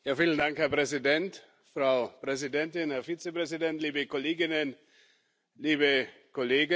Herr Präsident, Frau Präsidentin, Herr Vizepräsident, liebe Kolleginnen, liebe Kollegen!